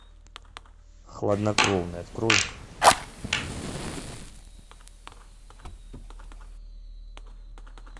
хладнокровный открой